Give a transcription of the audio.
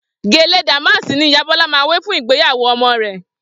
Gèlè dàmáàsì ni ìyá Bọ́lá máa wé fún ìgbéyàwó ọmọ rẹ̀